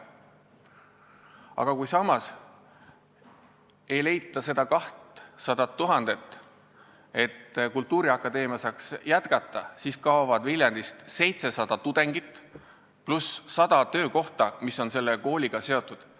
Aga kui samas ei leita seda 200 000 eurot, et kultuuriakadeemia saaks jätkata, siis kaovad Viljandist 700 tudengit pluss sada töökohta, mis on selle kooliga seotud.